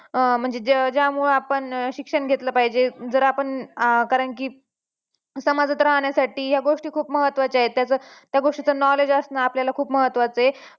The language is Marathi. अं म्हणजे ज्यामुळं आपण शिक्षण घेतल पाहिजे जर आपण अं कारणकी समाजात राहण्यासाठी या गोष्टी खूप महत्त्वाच्या आहेत त्याचं त्या गोष्टीचं knowledge आसनं आपल्याला खूप महत्त्वाचं आहे